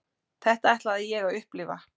Þetta ætlaði ég að upplifa.